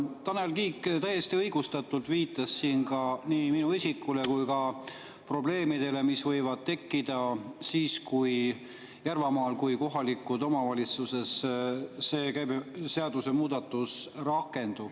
Tanel Kiik viitas siin, täiesti õigustatult, nii minu isikule kui ka probleemidele, mis võivad tekkida Järvamaal kohalikus omavalitsuses, kui see seadusemuudatus rakendub.